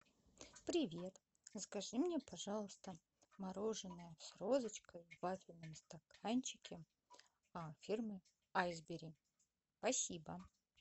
привет закажи мне пожалуйста мороженое с розочкой в вафельном стаканчике фирмы айсберри спасибо